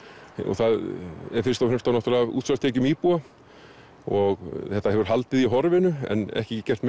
þá fyrst og fremst af útsvarstekjum íbúa og þetta hefur haldið í horfinu en ekki gert